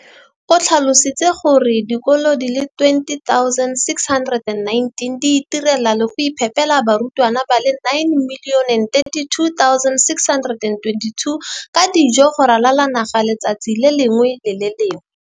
o tlhalositse gore dikolo di le 20 619 di itirela le go iphepela barutwana ba le 9 032 622 ka dijo go ralala naga letsatsi le lengwe le le lengwe.